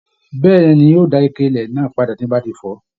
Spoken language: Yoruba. Bẹẹni, n o dá ike ilẹ náà padà tí mo bá tí fọ̀.